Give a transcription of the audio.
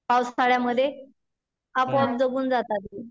पावसाळ्यामध्ये आपाप जगून जातात ते.